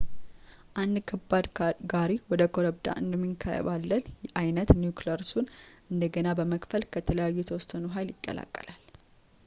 አንድ ከባድ ጋሪ ወደ ኮረብታ እንደሚንከባለል ዓይነት ኒውክሊየሱን እንደገና በመክፈል ከዚያ የተወሰነውን ኃይል ይለቀቃል